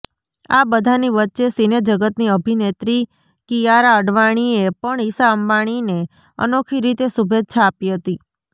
આ બધાની વચ્ચે સિનેજગતની અભિનેત્રી કિયારા અડવાણીએ પણ ઇશા અંબાણીને અનોખી રીતે શુભેચ્છા આપી હતી